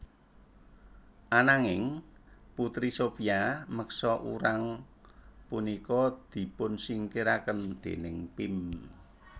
Ananging Putri Sophia meksa urang punika dipunsingkiraken déning Pim